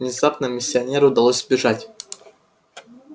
внезапно миссионеру удалось сбежать